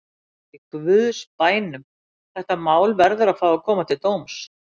Í guðs bænum: þetta mál verður að fá að koma til dóms.